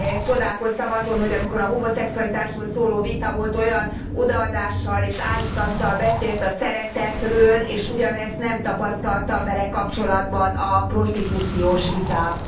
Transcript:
Csodálkoztam azon, hogy amikor a homoszexualitásról szóló vita volt, olyan odaadással és áhítattal beszélt a szeretetről, és ugyanezt nem tapasztaltam vele kapcsolatban a prostitúcióról szóló vitában.